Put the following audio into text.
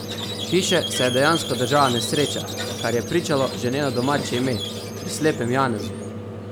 Hiše se je dejansko držala nesreča, kar je pričalo že njeno domače ime: "pri Slepem Janezu".